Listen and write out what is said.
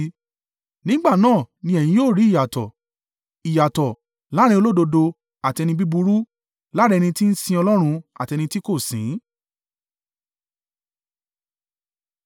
Nígbà náà ni ẹ̀yin yóò rí ìyàtọ̀, ìyàtọ̀ láàrín olódodo àti ẹni búburú, láàrín ẹni tí ń sìn Ọlọ́run, àti ẹni tí kò sìn ín.